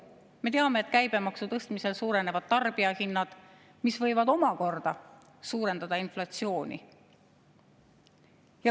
Me teame, et käibemaksu tõstmisel suurenevad tarbijahinnad, mis võivad omakorda suurendada inflatsiooni.